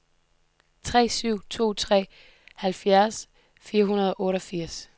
tre syv to tre halvfjerds fire hundrede og otteogfirs